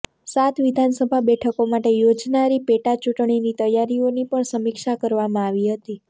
સાત વિધાનસભા બેઠકો માટે યોજાનારી પેટા ચૂંટણીની તૈયારીઓની પણ સમીક્ષા કરવામાં આવી હતી